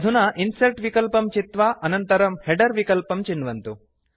अधुना इन्सर्ट् विकल्पं चित्वा अनन्तरं हेडर विकल्पं चिन्वन्तु